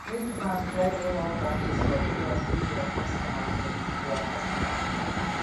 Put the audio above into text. make bank try get more branches for areas wey dia kostomers plenti dia kostomers plenti